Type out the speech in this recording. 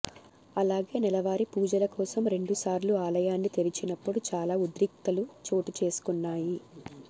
అలాగే నెలవారీ పూజల కోసం రెండుసార్లు ఆలయాన్ని తెరిచినప్పుడు చాలా ఉద్రిక్తతలు చోటు చేసుకున్నాయి